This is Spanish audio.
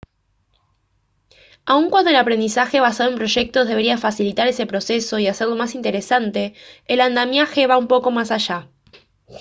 aun cuando el aprendizaje basado en proyectos debería facilitar ese proceso y hacerlo más interesante el andamiaje va un poco más allá